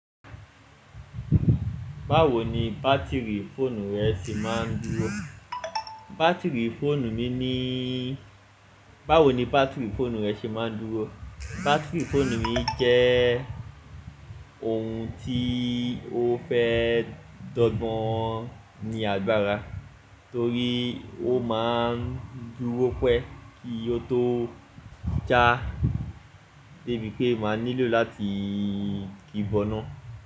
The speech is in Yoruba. Báwo ni bátìrì fóònù rẹ ṣe máa ń dúró? Bátìrì fóònù mi nííí báwo ni bátìrì fóònù rẹ ṣe máa ń dúró? Bátìrì fóònù mi jẹ́ẹ ohun tí ó fẹ́ dọ́gbọ́n ní agbára torí ó máa ń dúró pẹ́ kí ó tó já débi pé màá nílò láti ki bọ́nà.